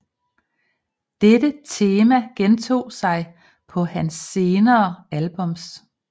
Dette tema gentog sig på hans senere albums